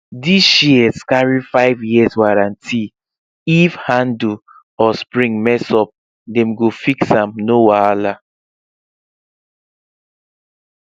this shears carry five years warranty if handle or spring mess up dem go fix am no wahala